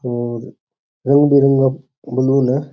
और रंग बिरंगा फूल वूल है।